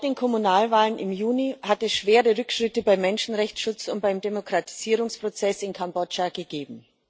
Seit den Kommunalwahlen im Juni hat es schwere Rückschritte beim Menschenrechtsschutz und beim Demokratisierungsprozess in Kambodscha gegeben.